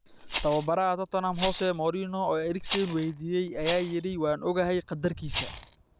Tababaraha Tottenham Jose Mourinho, oo Eriksen weydiiyay, ayaa yiri: Waan ogahay qaddarkiisa.